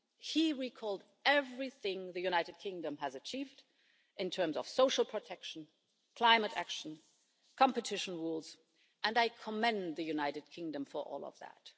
He recalled everything the United Kingdom has achieved in terms of social protection, climate action, competition rules, and I commend the UK for all of that.